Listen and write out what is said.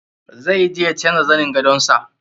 Zai je ya canja zanin gadon sa.